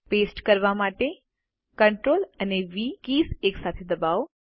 paste કરવા માટે CTRL અને વી કીઝ એકસાથે દબાવો